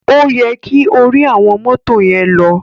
O yẹ ki ori awọn moto yen lọ.